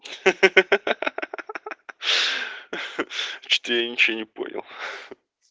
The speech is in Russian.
что я ничего не понял